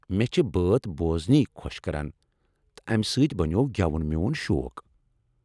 مےٚ چھِ بٲتھ بوزٕنِے، خۄش کران تہٕ امہِ سۭتۍ بنیوٚو گٮ۪وُن میون شوق۔